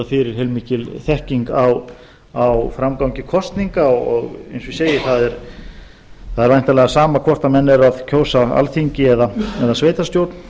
fyrir heilmikil þekking á framgangi kosninga og eins og ég segi það er væntanlega sama hvort menn eru að kjósa á alþingi eða í sveitarstjórn